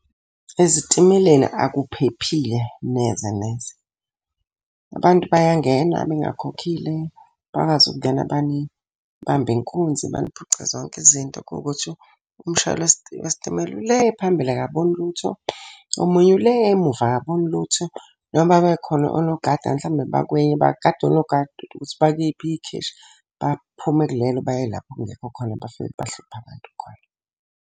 Ezitimeleni akuphephile neze neze. Abantu bayangena bengakhokhile, bakwazi ukungena banibambe inkunzi baniphuce zonke izinto kuwukuthi umshayeli wesitimela ule phambili akaboni lutho. Omunye ule emuva akaboni lutho. Noma bekhona onogada mhlambe , bagada onogada ukuthi bakuliphi ikheshi, baphume kulelo bayelapha okungekho khona, bafike bahluphe abantu khona.